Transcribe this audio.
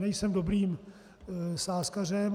Nejsem dobrým sázkařem.